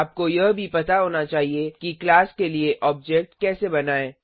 आपको यह भी पता होना चाहिए कि क्लास के लिए ऑब्जेक्ट कैसे बनाएँ